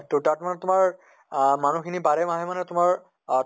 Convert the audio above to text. তʼ তাত মানে তোমাৰ আহ মানিহ খিনি বাৰ মাহে মানে তোমাৰ আহ